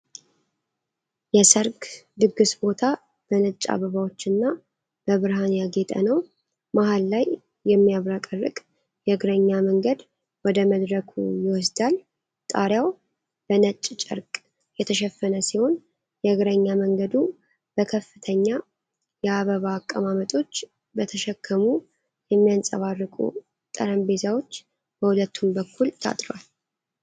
የሰርግ ድግስ ቦታ በነጭ አበባዎችና በብርሃን ያጌጠ ነው። መሃል ላይ የሚያብረቀርቅ የእግረኛ መንገድ ወደ መድረኩ ይወስዳል። ጣሪያው በ ነጭ ጨርቅ የተሸፈነ ሲሆን፣ የእግረኛ መንገዱ በከፍተኛ የአበባ አቀማመጦች በተሸከሙ የሚያንጸባርቁ ጠረጴዛዎች በሁለቱም በኩል ታጥሯል።